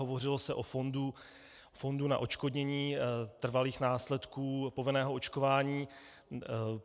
Hovořilo se o fondu na odškodnění trvalých následků povinného očkování.